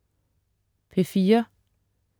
P4: